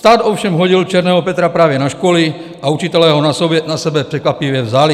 Stát ovšem hodil černého Petra právě na školy a učitelé ho na sebe překvapivě vzali.